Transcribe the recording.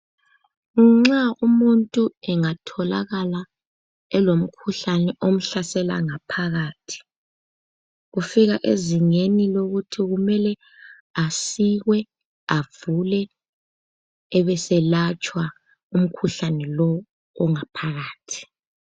Nxa umuntu engatholakala elomkhuhlane omhlasela ngaphakathi , ufika ezingeni lokuthi kumele asikwe, avulwe ebeselatshwa umkhuhlane lowu ongaphakathi.